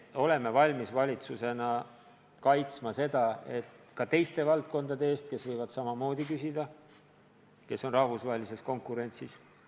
Me oleme valmis valitsusena kaitsma seda, et võimaldada seda ka teistele valdkondadele, kes võivad samamoodi seda küsida, kuna tegutsevad rahvusvahelise konkurentsi tingimustes.